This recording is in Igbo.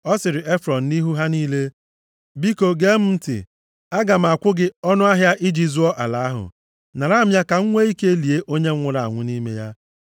ọ sịrị Efrọn, nʼihu ha niile, “Biko gee m ntị, aga m akwụ gị ọnụahịa iji zụọ ala ahụ. Nara m ya ka m nwee ike lie onye m nwụrụ anwụ nʼime ya.”